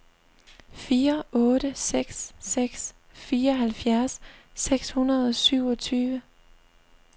fire otte seks seks fireoghalvfjerds seks hundrede og syvogtyve